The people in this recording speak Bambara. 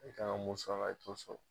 K'a musaga i koso